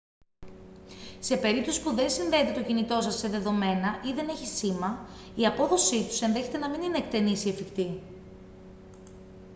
σε περίπτωση που δεν συνδέεται το κινητό σας σε δεδομένα ή δεν έχει σήμα η απόδοσή τους ενδέχεται να μην είναι εκτενής ή εφικτή